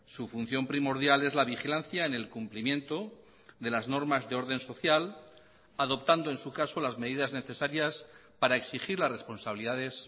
su función primordial es la vigilancia en el cumplimiento de las normas de orden social adoptando en su caso las medidas necesarias para exigir las responsabilidades